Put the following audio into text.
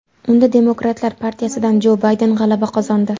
Unda Demokratlar partiyasidan Jo Bayden g‘alaba qozondi.